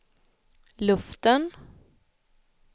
luften